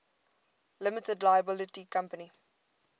limited liability company